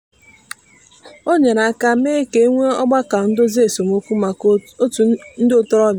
o nyere aka mee ka e nwee ọgbakọ ndozi esemokwu maka otu ndị ntorobịa.